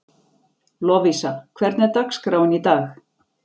Lovísa, hvernig er dagskráin í dag?